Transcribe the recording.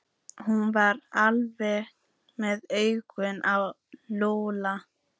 Hún var alltaf með augun á Lúlla.